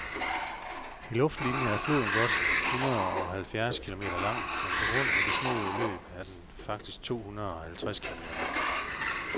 I luftlinie er floden godt hundredeoghalvfjerds kilometer lang, men på grund af det snoede løb er den faktisk tohundredeoghalvtreds kilometer lang.